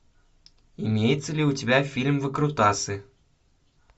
имеется ли у тебя фильм выкрутасы